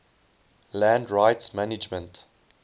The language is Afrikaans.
land rights management